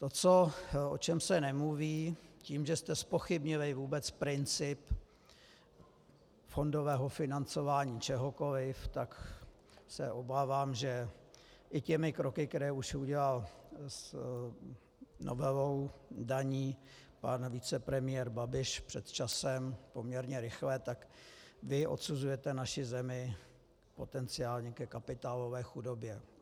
To, o čem se nemluví, tím, že jste zpochybnili vůbec princip fondového financování čehokoliv, tak se obávám, že i těmi kroky, které už udělal novelou daní pan vicepremiér Babiš před časem poměrně rychle, tak vy odsuzujete naši zemi potenciálně ke kapitálové chudobě.